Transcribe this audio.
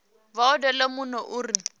vha odele muno u re